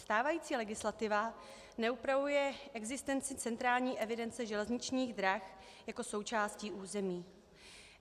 Stávající legislativa neupravuje existenci centrální evidence železničních drah jako součástí území.